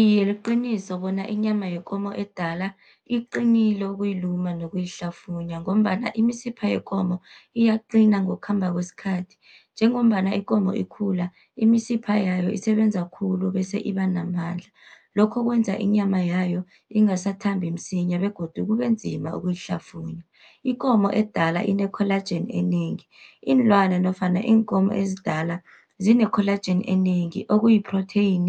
Iye, liqiniso bona inyama yekomo edala iqinile ukuyiluma nokuyihlafunya, ngombana imisipha yekomo iyaqina ngokukhamba kwesikhathi. Njengombana ikomo ikhula, imisipha yayo isebenza khulu bese iba namandla. Lokho kwenza inyama yayo ingasathambi msinya begodu kubenzima ukuyihlafunya. Ikomo edala ine-collagen enengi, iinlwana nofana iinkomo ezidala zine collagen enengi, okuyi protein